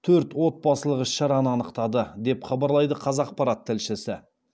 төрт отбасылық іс шараны анықтады деп хабарлайды қазақпарат тілшісі